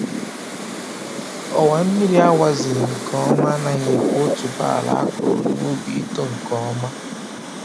Ọwa mmiri a wazighị nke ọma anaghị ekwe otuboala a kụrụ n'ubi ito nke ọma